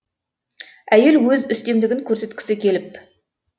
әйел өз үстемдігін көрсеткісі келіп пауза